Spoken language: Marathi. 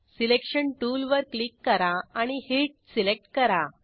सिलेक्शन टूलवर क्लिक करा आणि हीट सिलेक्ट करा